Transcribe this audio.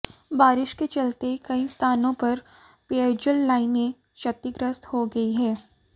बारिश के चलते कई स्थानों पर पेयजल लाइने क्षतिग्रस्त हो गयी है